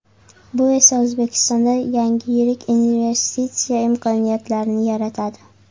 Bu esa O‘zbekistonda yangi yirik investitsiya imkoniyatlarini yaratadi.